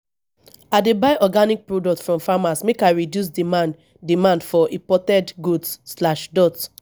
i dey buy organic products from farmers make i reduce demand demand for imported goods.